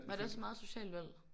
Var det også meget et socialt valg?